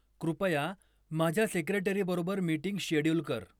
कृपया माझ्या सेक्रेटरीबरोबर मीटिंग शेड्यूल कर